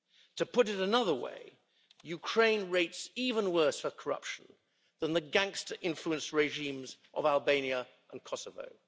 To put it another way Ukraine rates even worse for corruption than the gangster-influenced regimes of Albania and Kosovo.